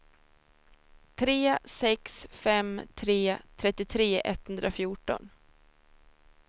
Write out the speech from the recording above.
tre sex fem tre trettiotre etthundrafjorton